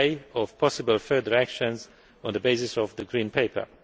of possible further actions on the basis of the Green Paper.